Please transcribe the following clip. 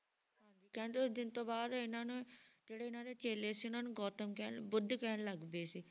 ਹਾਂਜੀ ਕਹਿੰਦੇ ਉਸ ਦਿਨ ਤੋਂ ਬਾਅਦ ਇਹਨਾਂ ਨੇ ਜਿਹੜੇ ਇਹਨਾਂ ਦੇ ਚੇਲੇ ਸੀ ਉਹ ਇਹਨਾਂ ਨੂੰ ਗੋਤਮ ਕਹਿਣ ਬੁੱਧ ਕਹਿਣ ਲੱਗ ਗਏ ਸੀ